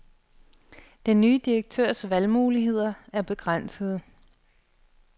Den nye direktørs valgmuligheder er begrænsede.